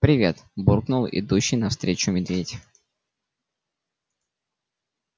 привет буркнул идущий навстречу медведь